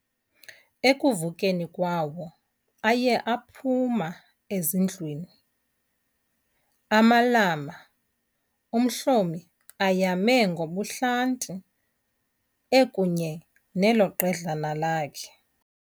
Ekuvukeni kwawo, aye aphuma ezindlwini, amalama uMhlomi ayame ngobuhlanti, ekunye nelo qedlana lakhe.